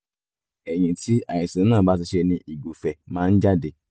ẹ̀yìn tí àìsàn náà bá ti ṣe ni ìgùfẹ̀ máa ń jáde